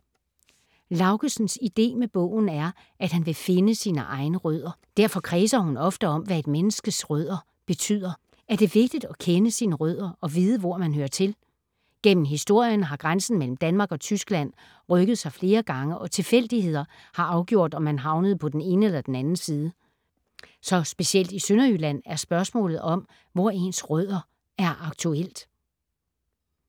Laugesens ide med bogen er, at hun vil finde sine egne rødder. Derfor kredser hun ofte om, hvad et menneskes rødder betyder. Er det vigtigt at kende sine rødder og vide, hvor man hører til? Gennem historien har grænsen mellem Danmark og Tyskland rykket sig flere gange, og tilfældigheder har afgjort, om man havnede på den ene eller den anden side. Så specielt i Sønderjylland er spørgsmålet om, hvor ens rødder er aktuelt.